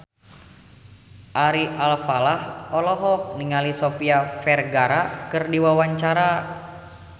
Ari Alfalah olohok ningali Sofia Vergara keur diwawancara